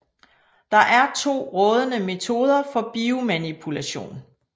Der er to rådende metoder for biomanipulation